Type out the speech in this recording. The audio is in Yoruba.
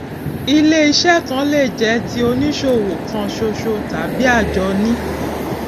iléiṣẹ kan lè jẹ ti oníṣòwò kan ṣoṣo tàbí àjọni